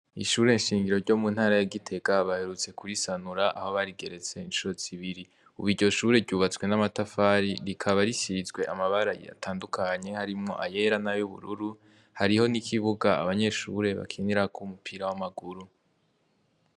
Ishuri shingiro ryo mu ntara ya gitega baherutse ku risanura aho barigeretse incuro zibire ubu iryo shuri ryubatse n'amatafari rikaba risizwe abara atandukanye harimwo ayera nayubururu hariho n'ikibuga abanyeshuri bakiniraho umupira w'amaguru.